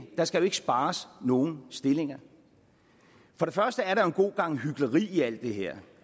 skal spares nogen stillinger for det første er der en god gang hykleri i alt det her